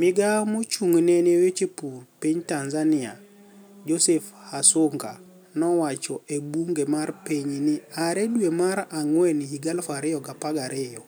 Migao mochung'ne ni e weche pur piniy tanizaniia joseph hasuniga nowacho ebunige mar piniy nii are dwe mar anigweni higa 2012